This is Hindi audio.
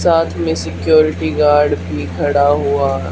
साथ में सिक्योरिटी गार्ड भी खड़ा हुआ--